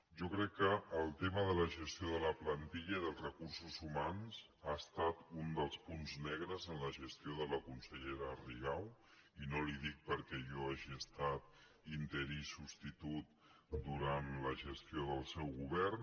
jo crec que el tema de la gestió de la plantilla i dels recursos humans ha estat un dels punts negres en la gestió de la consellera ri·gau i no li ho dic perquè jo hagi estat interí i substitut durant la gestió del seu govern